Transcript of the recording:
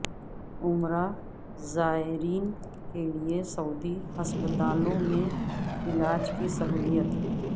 عمرہ زائرین کے لیے سعودی ہسپتالوں میں علاج کی سہولت